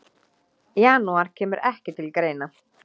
Janúar kemur ekki til greina.